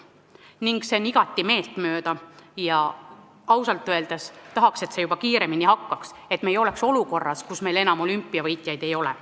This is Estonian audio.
See on mulle igati meeltmööda ja ausalt öeldes tahaks, et see juba kiiremini peale hakkaks, et me ei oleks olukorras, kus meil enam olümpiavõitjaid ei ole.